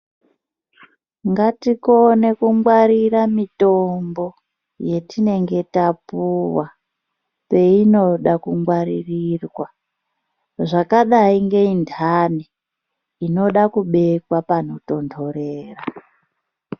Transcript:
Ngatikone kungwarira mitombo yatinenge tapuwa peinoda kungwaririrwa zvakadai ngeye ndani inoda kubekwa pano tondorera.